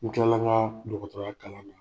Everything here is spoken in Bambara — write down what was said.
N tilala ŋaa dɔgɔtɔrɔya kalan na.